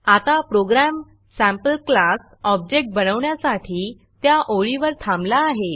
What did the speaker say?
आता program sample class object बनवण्यासाठी त्या ओळीवर थांबला आहे